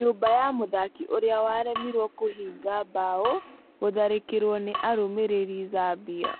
Nyũmba ya mũthaki ũrĩa waremirwo kũhiga bao gũtharĩkĩrwo nĩ arũmĩrĩri Zambia.